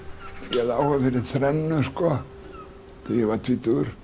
ég hafði áhuga fyrir þrennu þegar ég var tvítugur